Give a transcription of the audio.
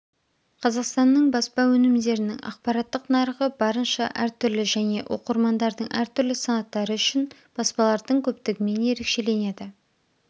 қазақстанның баспа өнімдерінің ақпараттық нарығы барынша әртүрлі және оқырмандардың әртүрлі санаттары үшін баспалардың көптігімен ерекшеленеді